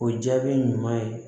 O jaabi ɲuman ye